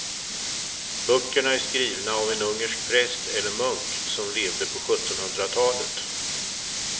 Böckerna är skrivna av en ungersk präst eller munk som levde på sjuttonhundratalet.